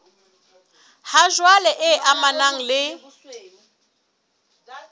ha jwale e amanang le